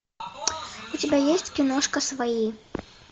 у тебя есть киношка свои